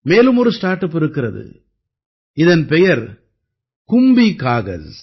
மேலும் ஒரு start up இருக்கிறது இதன் பெயர் கும்பி காகஸ்